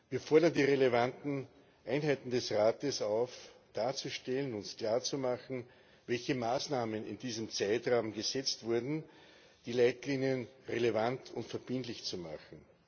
Wir fordern die relevanten Einheiten des Rates auf, darzustellen, uns klarzumachen, welche Maßnahmen in diesem Zeitraum gesetzt wurden, die Leitlinien relevant und verbindlich zu machen.